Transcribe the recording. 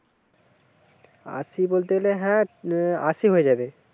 আশি বলতে গেলে, হ্যাঁ আশি হয়ে যাবে।